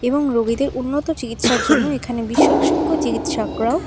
এবং রোগীদের উন্নত চিকিৎসার জন্য এখানে বিশ্বসোগ্য চিকিৎসকরাও--